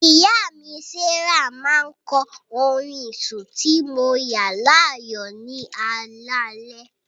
Ìyá mi, Sarah, máa ń kọ orin sùn tí mo yàn láàyò ní alaalẹ́.